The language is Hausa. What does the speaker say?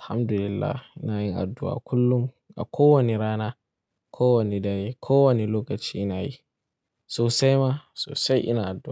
Alhamdulillah, ina yin addu'a kullum a kowane rana, kowane dare, kowane lokaci ina yi. Sosai ma sosai ina addu'a.